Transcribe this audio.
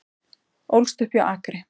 Ólst upp hjá Akri